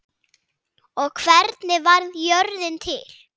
og Hvernig varð jörðin til?